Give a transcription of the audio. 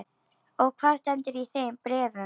Og hvað stendur í þeim bréfum?